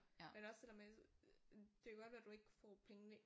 Men også det der med det kan godt være du ikke får pengene